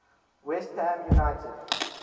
west ham united